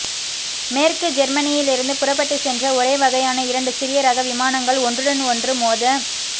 மேற்கு ஜேர்மனியிலிருந்து புறப்பட்டுச் சென்ற ஒரே வகையான இரண்டு சிறிய ரக விமானங்கள் ஒன்றுடன் ஒன்று மோத